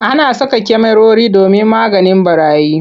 Ana saka kyamarori domin maganin ɓarayi.